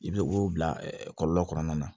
I bɛ o bila kɔlɔlɔ kɔnɔna na